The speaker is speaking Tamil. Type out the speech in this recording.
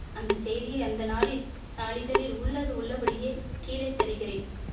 அந்த செய்தியை அந்த நாளில் நாளிதழில் உள்ளது உள்ளபடியே கீழே தருகிறேன்